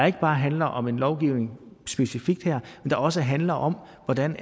ikke bare handle om en lovgivning specifikt her men også handle om hvordan